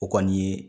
O kɔni ye